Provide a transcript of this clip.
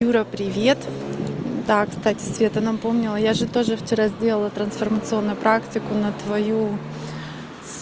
юра привет да к стати света напомнила я же тоже вчера сделала трансформационную практику на твою